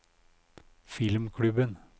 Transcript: filmklubben